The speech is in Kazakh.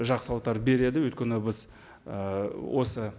жақсылықтар береді өйткені біз ы осы